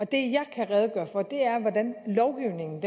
det jeg kan redegøre for er er hvordan lovgivningen